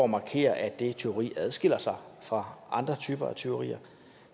markere at dette tyveri adskiller sig fra andre typer af tyverier